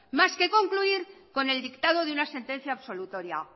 más que concluir con el dictado de una sentencia absolutoria